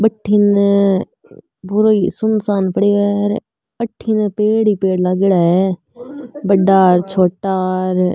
बठीने पुरो ही सुनसान पड़ियो है अठीने पेड़ ही पेड़ लागेड़ा है बढ़ा र छोटा र।